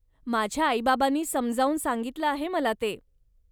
माझ्या आई बाबांनी समजावून सांगितलं आहे मला ते.